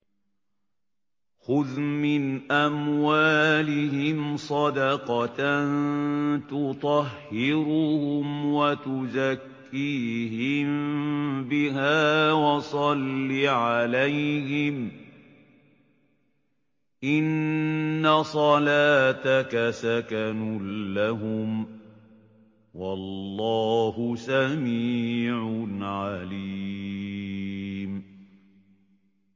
خُذْ مِنْ أَمْوَالِهِمْ صَدَقَةً تُطَهِّرُهُمْ وَتُزَكِّيهِم بِهَا وَصَلِّ عَلَيْهِمْ ۖ إِنَّ صَلَاتَكَ سَكَنٌ لَّهُمْ ۗ وَاللَّهُ سَمِيعٌ عَلِيمٌ